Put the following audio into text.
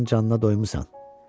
Deyəsən canına doymusan.